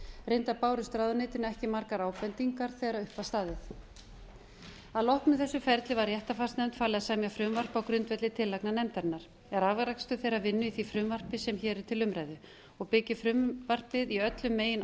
reyndar bárust ráðuneytinu ekki margar ábendingar þegar upp var staðið að loknu þessu ferli var réttarfarsnefnd falið að semja frumvarp á grundvelli tillagna nefndarinnar er afrakstur þeirrar vinnu í því frumvarpi sem hér er til umræðu og byggir frumvarpið í öllum megin